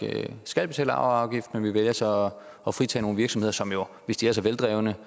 skal betale arveafgift men man vælger så at fritage nogle virksomheder som jo hvis de er så veldrevne